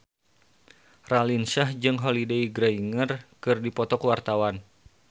Raline Shah jeung Holliday Grainger keur dipoto ku wartawan